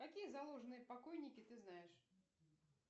какие заложенные покойники ты знаешь